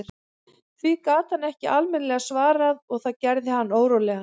Því gat hann ekki almennilega svarað og það gerði hann órólegan.